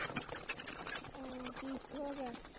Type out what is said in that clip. ਉਹ ਕੀ ਹੋ ਗਿਆ